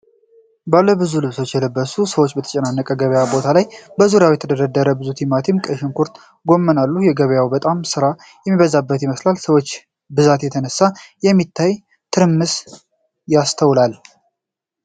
ባለ ብዙ ልብሶች የለበሱ ሰዎች በተጨናነቀ የገበያ ቦታ ላይ በዙሪያቸው የተደረደሩ ብዙ ቲማቲም፣ ቀይ ሽንኩርት እና ጎመን አሉ። ገበያው በጣም ስራ የሚበዛበት ይመስላል፣ በሰዎች ብዛት የተነሳ የሚታይ ትርምስ ይስተዋላል?